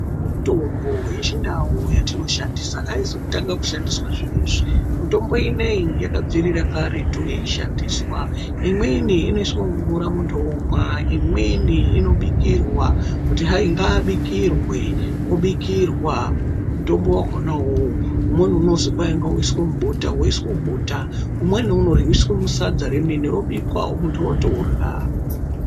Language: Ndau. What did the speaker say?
Mitombo yechindau yatinoshandisa haizi kutanga kushandisa zvinoizvi ,mitombo inoyi yakabvira karetu yeishandiswa. Imweni inoiswe mumvura muntu womwa, imweni inobikirwa, kuti hai ngaabikirwe obikirwa mutombo wakona uwowo, umweni unozwi kwaingauiswe mubota, umweni unorwyiswe sadza remene, muntu wotorya.